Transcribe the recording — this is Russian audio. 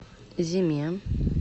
зиме